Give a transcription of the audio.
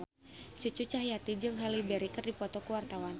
Cucu Cahyati jeung Halle Berry keur dipoto ku wartawan